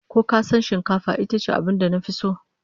Ko kasan shikafa itace abincin da nafi so?